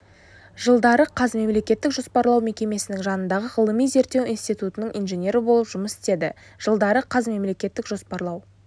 жылдары қаз мемлекеттік жоспарлау мекемесінің жанындағы ғылыми-зерттеу институтының инженері болып жұмыс істеді жылдары қаз мемлекеттік жоспарлау